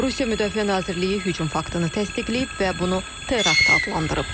Rusiya Müdafiə Nazirliyi hücum faktını təsdiqləyib və bunu terakt adlandırıb.